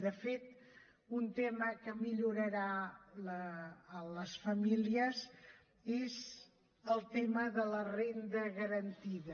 de fet un tema que millorarà les famílies és el tema de la renda garantida